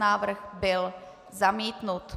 Návrh byl zamítnut.